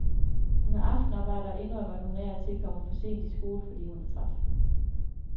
Hun har aftenarbejde og indrømmer, at hun af og til kommer for sent i skole, fordi hun er træt.